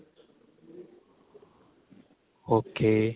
ok